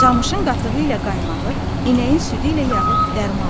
Camışın qatığı ilə qaymağı, inəyin südü ilə yağı dərmandır.